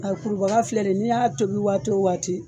Ŋa kurubaga filɛ nin ye, n'i y'a tobi waati o waati